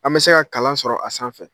An bɛ se ka kalan sɔrɔ a sanfɛ.